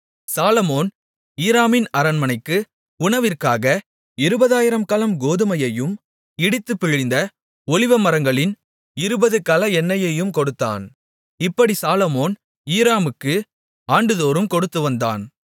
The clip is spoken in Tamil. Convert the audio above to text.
சாலொமோன் ஈராமின் அரண்மனைக்கு உணவிற்காக 20000 கலம் கோதுமையையும் இடித்துப் பிழிந்த ஒலிவமரங்களின் இருபது கல எண்ணெயையும் கொடுத்தான் இப்படி சாலொமோன் ஈராமுக்கு ஆண்டுதோறும் கொடுத்துவந்தான்